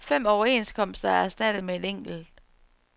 Fem overenskomster er erstattet med en enkelt.